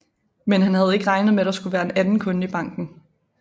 Men han havde ikke regnet med at der skulle være en anden kunde i banken